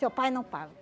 Seu pai não paga.